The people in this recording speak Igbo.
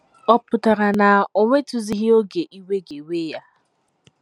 Ọ̀ pụtara na o nwetụghịzi oge iwe ga - ewe ya?